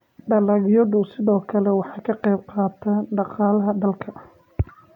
dalagyadu sidoo kale waxay ka qayb qaataan dhaqaalaha dalka